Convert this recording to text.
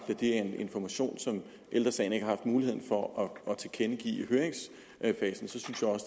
er en information som ældre sagen ikke har muligheden for at tilkendegive